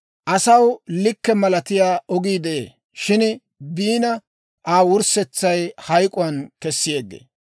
Asaw likke malatiyaa ogii de'ee; shin biina, Aa wurssetsay hayk'k'uwaan kessi yeggee.